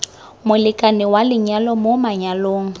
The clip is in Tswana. molekane wa lenyalo mo manyalong